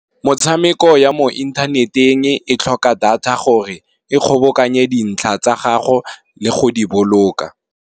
Metshameko ya mo inthaneteng e tlhoka data gore, e kgobokanye dintlha tsa ga go le go di boloka.